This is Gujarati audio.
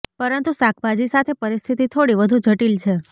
પરંતુ શાકભાજી સાથે પરિસ્થિતિ થોડી વધુ જટિલ છે